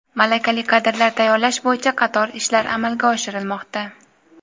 malakali kadrlar tayyorlash bo‘yicha qator ishlar amalga oshirilmoqda.